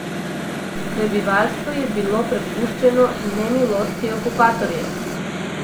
Prebivalstvo je bilo prepuščeno nemilosti okupatorjev.